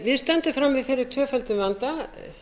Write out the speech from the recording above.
við stöndum frammi fyrir tvöföldum vanda